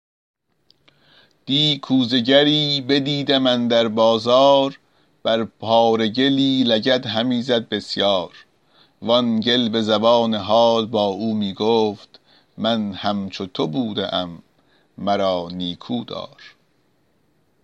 دی کوزه گری بدیدم اندر بازار بر پاره گلی لگد همی زد بسیار وآن گل به زبان حال با او می گفت من همچو تو بوده ام مرا نیکودار